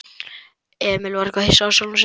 Emil var hissa á sjálfum sér.